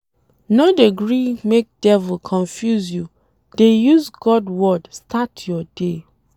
No dey gree make devil confuse you, dey use God word start your day.